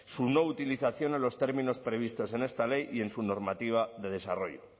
su no utilización en los términos previstos en esta ley y en su normativa de desarrollo